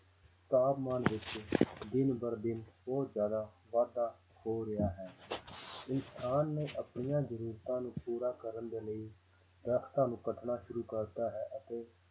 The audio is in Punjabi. ਤਾਪਮਾਨ ਵਿੱਚ ਦਿਨ ਬਰ ਦਿਨ ਬਹੁਤ ਜ਼ਿਆਦਾ ਵਾਧਾ ਹੋ ਰਿਹਾ ਹੈ ਕਿਸਾਨ ਨੇ ਆਪਣੀਆਂ ਜ਼ਰੂਰਤਾਂ ਨੂੰ ਪੂਰਾ ਕਰਨ ਦੇ ਲਈ ਦਰੱਖਤਾਂ ਨੂੰ ਕੱਟਣਾ ਸ਼ੁਰੂ ਕਰ ਦਿੱਤਾ ਹੈ ਅਤੇ